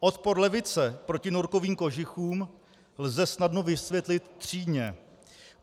"Odpor levice proti norkovým kožichům lze snadno vysvětlit třídně.